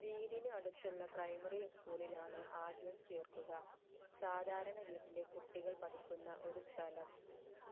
വീടിനു അടുത്തുള്ള primary school ലാണ് ആദ്യം ചേർക്കുക സാധാരണ വീട്ടിലെ കുട്ടികൾ പഠിക്കുന്ന ഒരു സ്ഥലം